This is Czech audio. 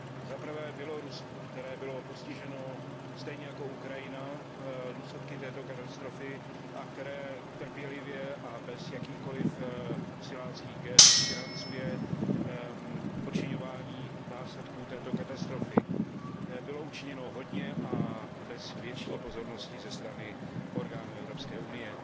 Za prvé Bělorusku, které bylo postiženo stejně jako Ukrajina důsledky této katastrofy a které trpělivě a bez jakýchkoliv siláckých gest financuje odčiňování následků této katastrofy. Bylo učiněno hodně a bez větší pozornosti ze strany orgánů Evropské unie.